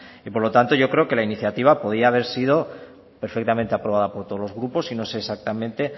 y por lo tanto yo creo que la iniciativa podía haber sido perfectamente aprobada por todos los grupos y no sé exactamente